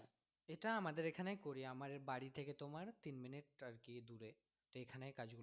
এটা আমাদের এখানে করি আমার বাড়ি থেকে তোমার তিন মিনিট আর কি দুরে তো এখানে কাজগুলো করি।